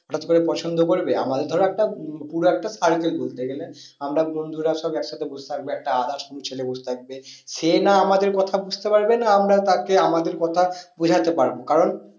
হঠাৎ করে পছন্দ করবে আমাদের ধরো একটা পুরো একটা ঘুরতে গেলে আমরা বন্ধুরা সব এক সাথে বস থাকবো একটা others কোনো ছেলে বস থাকবে সে না আমাদের কথা বুঝতে পারবে আর না আমরা তাকে আমাদের কথা বোঝাতে পারবো। কারণ